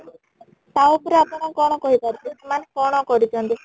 ତା ଉପରେ ଆପଣ କ'ଣ କହି ପାରିବେ ମାନେ କ'ଣ କରିଛନ୍ତି ?